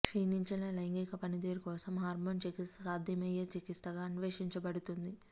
క్షీణించిన లైంగిక పనితీరు కోసం హార్మోన్ చికిత్స సాధ్యమయ్యే చికిత్సగా అన్వేషించబడుతుంది